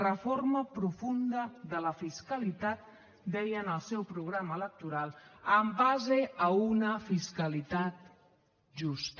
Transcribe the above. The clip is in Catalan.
reforma profunda de la fiscalitat deien al seu programa electoral en base a una fiscalitat justa